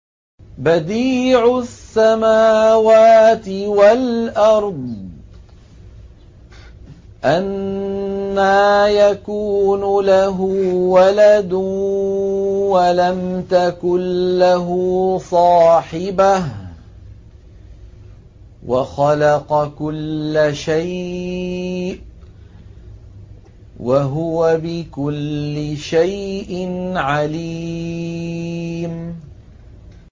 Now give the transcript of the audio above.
بَدِيعُ السَّمَاوَاتِ وَالْأَرْضِ ۖ أَنَّىٰ يَكُونُ لَهُ وَلَدٌ وَلَمْ تَكُن لَّهُ صَاحِبَةٌ ۖ وَخَلَقَ كُلَّ شَيْءٍ ۖ وَهُوَ بِكُلِّ شَيْءٍ عَلِيمٌ